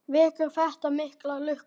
Vekur þetta mikla lukku.